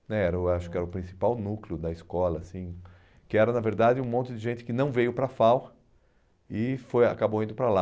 né era o acho que era o principal núcleo da escola assim, que era na verdade um monte de gente que não veio para a FAU e foi acabou indo para lá.